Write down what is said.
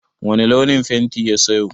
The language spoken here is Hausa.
Wani launin fenti ya sayo?